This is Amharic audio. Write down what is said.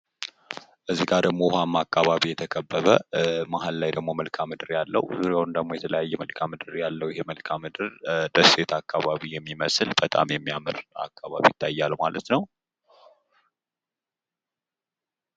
እዚህ ጋር ደግሞ ውሃማ አካባቢ የተከበበ ማህል ላይ ደግሞ መልካም ምድር ያለው ዙሪያውን ደግሞ የተለያዩ መልካም ምድር ያለው ይህ መልካም ምድር ደሴት አካባቢ የሚመስል በጣም የሚያምር አካባቢ ይታያል ማለት ነው።